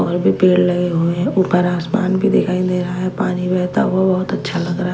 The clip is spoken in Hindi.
और भी पेड़ लगे हुए हैं ऊपर आसमान भी दिखाई दे रहा है पानी बहता हुआ बहुत अच्छा लग रहा--